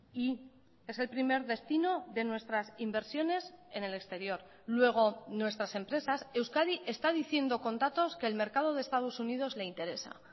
y es el primer destino de nuestras inversiones en el exterior luego nuestras empresas euskadi está diciendo con datos que el mercado de estados unidos le interesa